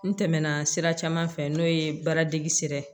N tɛmɛna sira caman fɛ n'o ye baara dege sira ye